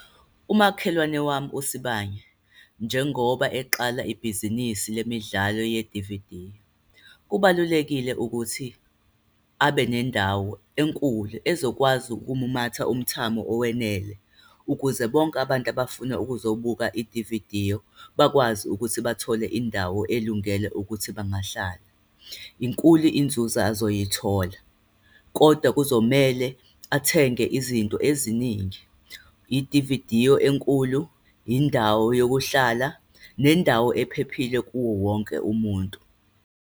Umakhelwane wami uSibanye, njengoba eqala ibhizinisi lemidlalo yedividiyo, kubalulekile ukuthi abe nendawo enkulu ezokwazi ukumumatha umthamo owenele, ukuze bonke abantu abafuna ukuzobukela idiviyo bakwazi ukuthi bathole indawo elungele ukuthi bangahlala. Inkulu inzuzo azoyithola. Kodwa kuzomele athenge izinto eziningi, idividiyo enkulu, indawo yokuhlala, nendawo ephephile kuwo wonke umuntu.